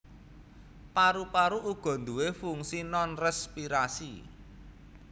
Paru paru uga nduwé fungsi nonrespirasi